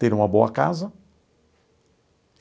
Ter uma boa casa?